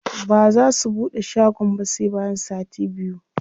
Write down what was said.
Baza su buɗe shagon ba sai bayan sati biyu.